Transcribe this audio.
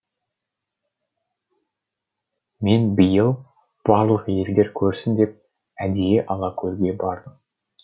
мен биыл барлық елдер көрсін деп әдейі алакөлге бардым